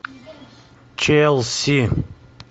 челси